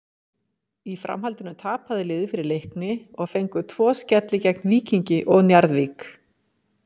Í framhaldinu tapaði liðið fyrir Leikni og fengu tvo skelli gegn Víkingi og Njarðvík.